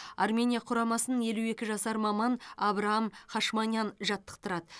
армения құрамасын елу екі жасар маман абраам хашманян жаттықтырады